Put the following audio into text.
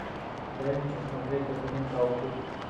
дай мне посмотреть документалку